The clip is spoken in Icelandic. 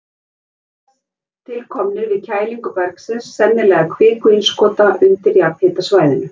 Þeir virðast til komnir við kælingu bergsins, sennilega kvikuinnskota, undir jarðhitasvæðinu.